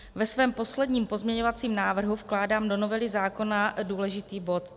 Ve svém posledním pozměňovacím návrhu vkládám do novely zákona důležitý bod.